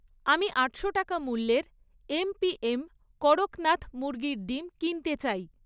আমি আটশো টাকা মূল্যের এমপিএম কড়কনাথ মুরগির ডিম কিনতে চাই